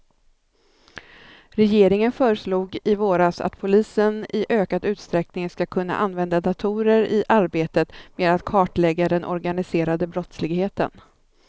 Regeringen föreslog i våras att polisen i ökad utsträckning ska kunna använda datorer i arbetet med att kartlägga den organiserade brottsligheten.